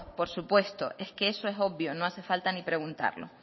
por supuesto es que eso es obvio no hace falta ni preguntarlo